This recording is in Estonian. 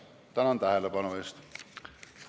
Tänan tähelepanu eest!